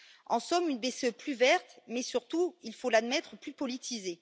En somme, une BCE plus verte, mais surtout, il faut l'admettre, plus politisée.